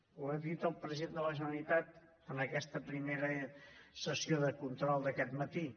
ho ha dit el president de la generalitat en aquesta primera sessió de control d’aquest matí